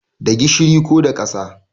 Da gishiri ko da ƙasa